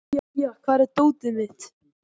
Marja, hvar er dótið mitt?